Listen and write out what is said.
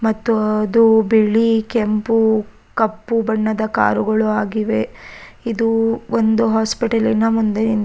ಮತ್ತು ಅದು ಬಿಳಿ ಕೆಂಪು ಕಪ್ಪು ಬಣ್ಣದ ಕಾರು ಗಳು ಆಗಿವೆ ಇದು ಒಂದು ಹಾಸ್ಪಿಟಲಿನ ಮುಂದೆ.